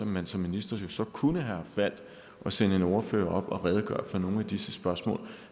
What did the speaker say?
man som minister kunne have valgt at sende en ordfører op og redegøre for nogle af disse spørgsmål